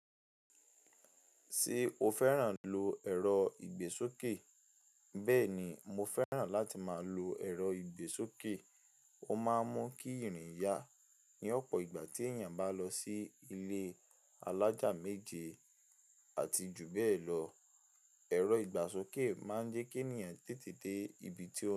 Ṣé o fẹ́ràn lo ẹ̀rọ ìgbésókè? Bẹ́ẹ̀ ni, mo fẹ́ràn láti máa lo ẹ̀rọ ìgbésókè. Ó máa ń mú kí ìrìn yá ní ọ̀pọ̀ ìgbà tí èèyàn bá lọ sí ilé alájà méje àti jù bẹ́ẹ̀ lọ. Ẹ̀rọ ìgbàsókè máa ń jẹ́ kí ènìyàn tètè dé ibi tí ó ń.